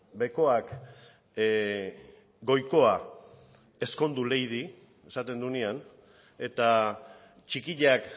bekoak goikoa ezkondu leidi esaten duenean eta txikiak